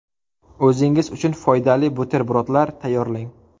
O‘zingiz uchun foydali buterbrodlar tayyorlang .